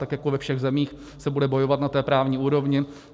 Tak jako ve všech zemích se bude bojovat na té právní úrovni.